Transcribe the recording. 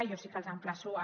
i jo sí que els emplaço a